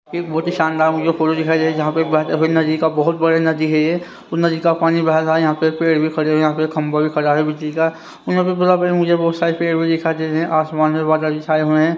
ये बहुत ही शानदार मुझे फोटो दिखाई दे जहां पे बह नदी का बहुत बड़ा नदी है ये तो नदी का पानी बह रहा है यहां पे पेड़ भी खड़े हुए यहां पे खंबा भी खड़ा है बिजली का मुझे बहुत सारे पे भी दिखाई दे रहे हैं आसमान में बादल भी छाए हुए हैं।